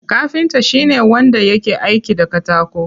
Kafinta shine wanda yake aiki da katako.